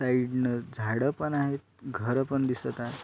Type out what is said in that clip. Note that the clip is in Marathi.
साइड न झाड पण आहेत घर पण दिसत आहेत.